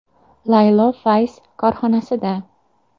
“Laylo fayz” korxonasida.